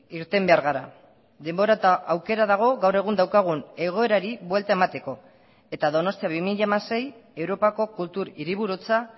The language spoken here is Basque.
irten behar gara denbora eta aukera dago gaur egun daukagun egoerari buelta emateko eta donostia bi mila hamasei europako kultur hiriburutza